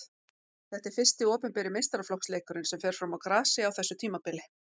Þetta er fyrsti opinberi meistaraflokksleikurinn sem fer fram á grasi á þessu tímabili.